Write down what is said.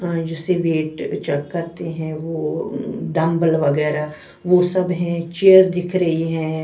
अं जिसे weight check करते है डंबल वगैरा वो सब है चेयर दिख रही है।